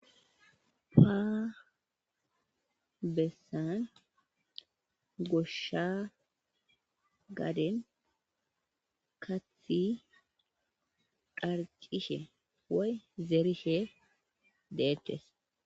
Ha abessan goshshan gaaden kaththi dharcishe woy zeerishe deettes.